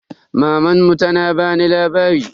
Mamanmu tana bamu labari.